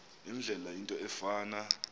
indlela into efana